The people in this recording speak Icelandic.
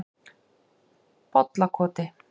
Bollakoti